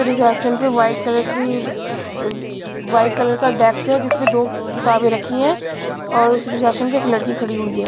Reception पे white colour की अ वाइट कलर का डेक्स है जिसमें दो किताबें रखी है और उस रिसेप्शन पे एक लड़की खड़ी हुई है.